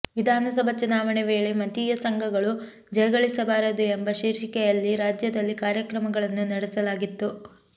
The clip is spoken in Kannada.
ವಿಧಾನಸಭಾ ಚುನಾವಣೆ ವೇಳೆ ಮತೀಯ ಸಂಘಗಳು ಜಯ ಗಳಿಸಬಾರದು ಎಂಬ ಶೀರ್ಷಿಕೆಯಲ್ಲಿ ರಾಜ್ಯದಲ್ಲಿ ಕಾರ್ಯಕ್ರಮಗಳನ್ನು ನಡೆಸಲಾಗಿತ್ತು